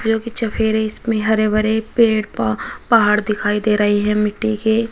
जो की चफेरे इसमें हरे भरे पेड़ पहाड़ दिखाई दे रही है मिट्टी के।